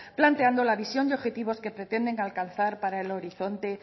planteando la visión de objetivos que pretenden alcanzar para el horizonte